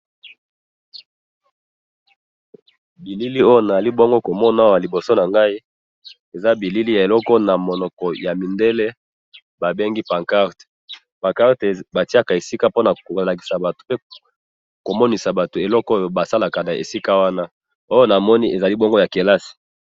Bilili oyo nazali bongo ko mona awa liboso na ngai ,eza bilili ya eloko oyo na monoko ya mindele babengi pancarte ,pancarte batiaka esika po na kolakisa batu pe ko monisa batu eloko oyo basalaka na esika wana ,oyo namoni ezali bongo ya kelasi